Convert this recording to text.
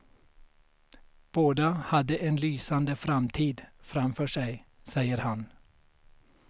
Båda hade en lysande framtid framför sig, säger han.